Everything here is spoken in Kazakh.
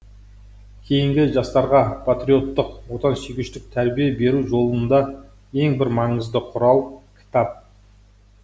кейінгі жастарға патриоттық отансүйгіштік тәрбие беру жолында ең бір маңызды құрал кітап